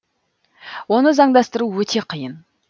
оны заңдастыру өте қиын